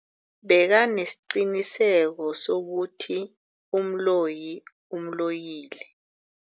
Bekanesiqiniseko sokuthi umloyi umloyile.